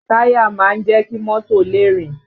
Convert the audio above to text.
Táyà máa ń jẹ́ kí mọ́tò lè rìn